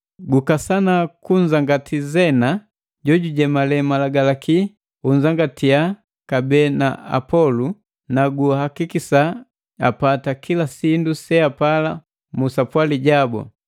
Gukasana kunzangati Zena jojujemale malagalaki unzangatia kabee na Apolu na guakikisa apata kila sindu seapala mu sapwali jabu.